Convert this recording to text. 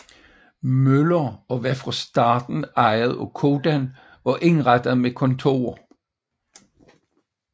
Møller og var fra starten ejet af Codan og indrettet med kontorer